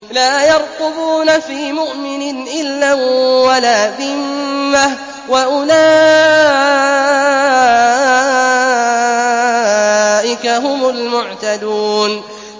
لَا يَرْقُبُونَ فِي مُؤْمِنٍ إِلًّا وَلَا ذِمَّةً ۚ وَأُولَٰئِكَ هُمُ الْمُعْتَدُونَ